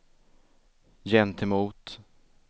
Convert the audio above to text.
gentemot